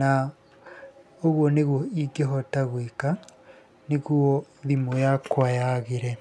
Na ũguo nĩguo ingĩhota gwĩka nĩguo thimũ yakwa yaagĩre.